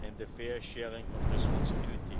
and the fair sharing of responsibility.